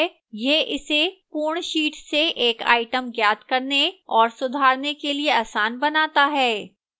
यह इसे पूर्ण sheet से एक item ज्ञात करने और सुधारने के लिए आसान बनाता है